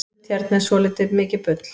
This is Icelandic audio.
sumt hérna er svoltið mikið bull